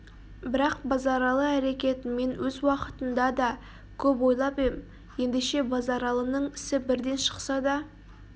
бірақ базаралы әрекетін мен өз уақытында да көп ойлап ем ендеше базаралының ісі бірден шықса да